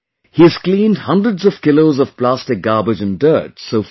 He has cleaned hundreds of kilos of plastic garbage and dirt so far